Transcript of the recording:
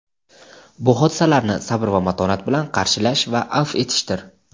bu hodisalarni sabr va matonat bilan qarshilash va afv etishdir.